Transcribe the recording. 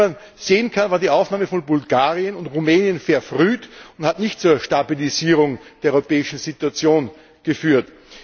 Wie man sehen kann, war die Aufnahme von Bulgarien und Rumänien verfrüht und hat nicht zur Stabilisierung der europäischen Situation geführt.